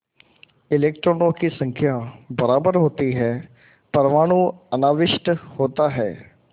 इलेक्ट्रॉनों की संख्या बराबर होती है परमाणु अनाविष्ट होता है